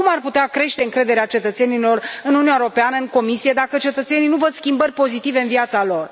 Cum ar putea crește încrederea cetățenilor în Uniunea Europeană, în Comisie, dacă cetățenii nu văd schimbări pozitive în viața lor.